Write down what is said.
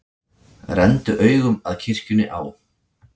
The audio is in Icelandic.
Renndu augum að kirkjunni á